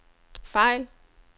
fejl